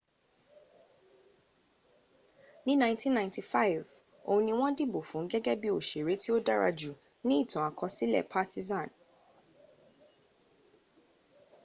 ní 1995 oun ni wọn dìbò fun gégé bi òsèré tí o dárajù nií ìtàn-àkọsílè partizan